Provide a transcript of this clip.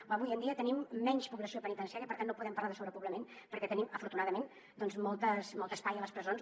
o avui en dia tenim menys població penitenciària i per tant no podem parlar de sobrepoblament perquè tenim afortunadament molt d’espai a les presons